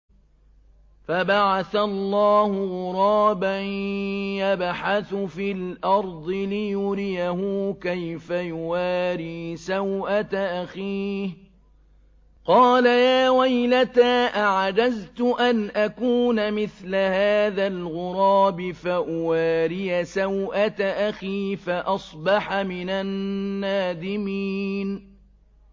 فَبَعَثَ اللَّهُ غُرَابًا يَبْحَثُ فِي الْأَرْضِ لِيُرِيَهُ كَيْفَ يُوَارِي سَوْءَةَ أَخِيهِ ۚ قَالَ يَا وَيْلَتَا أَعَجَزْتُ أَنْ أَكُونَ مِثْلَ هَٰذَا الْغُرَابِ فَأُوَارِيَ سَوْءَةَ أَخِي ۖ فَأَصْبَحَ مِنَ النَّادِمِينَ